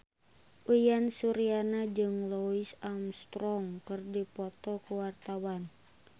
Uyan Suryana jeung Louis Armstrong keur dipoto ku wartawan